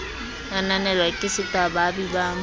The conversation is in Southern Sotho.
ananelwa ke seta baabi ba